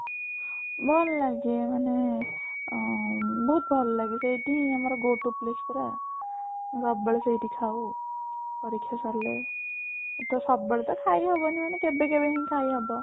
ଭଲ ଲାଗେ ମାନେ ଉଁ ବହୁତ ଭଲ ଲାଗେ ସେଇଟି ହିଁ ଆମର go to place ପରା ସବୁବେଳେ ସେଇଠି ଖାଉ ପରୀକ୍ଷା ସରିଲେ ତ ସବୁବେଳେ ତ ଖାଇ ହବନି ମାନେ କେବେ କେବେ ହିଁ ଖାଇ ହବ